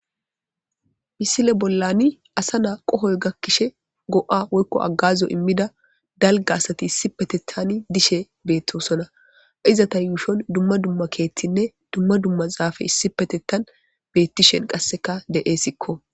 Misile bollan asa na qohoy gakishe go'a woykko aagazo iimmida dalgga asati issippeteththan dishe bettossonna izetta yuushshon dumma dumma keththinne dumma dumma zafey issipetetan bettishe qasekka de'esikko